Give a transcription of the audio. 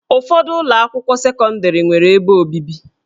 Ụfọdụ ụlọ akwụkwọ sekọndrị nwere ebe obibi